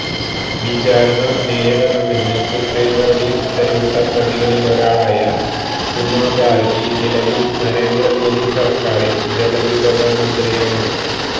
വിചാരണ നേരിടണമെന്ന് സുപ്രീംകോടതി ഉത്തരവിട്ട പ്രതികളിലൊരാളായ ഉമാഭാരതി നിലവിൽ നരേന്ദ്ര മോദി സർക്കാറിൽ ജലവിഭവ മന്ത്രിയാണ്